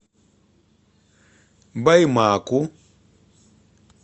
баймаку